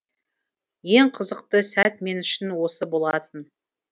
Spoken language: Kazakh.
ең қызықты сәт мен үшін осы болатын